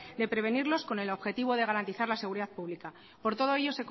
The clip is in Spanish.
de prevenirlos con el objetivo de garantizar la seguridad pública por todo ello